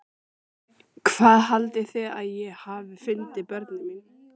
Hvað haldið þið að ég hafi fundið börnin mín?